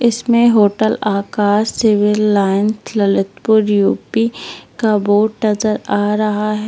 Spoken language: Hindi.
इसमें hotel Akash civil line Lalitpur UP का बोर्ड नजर आ रहा है।